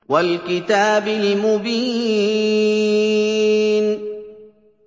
وَالْكِتَابِ الْمُبِينِ